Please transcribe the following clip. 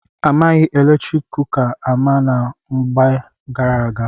A maghị eletrik kuka ama na mgbe gara aga.